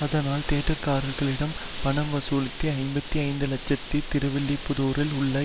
அதனால் தியேட்டர்காரர்களிடம் பணம் வசூலித்து ஐம்பத்தி ஐந்து லட்சத்தை திருவில்லிபுத்தூரில் உள்ள